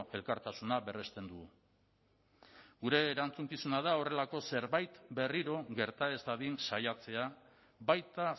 elkartasuna berresten dugu gure erantzukizuna da horrelako zerbait berriro gerta ez dadin saiatzea baita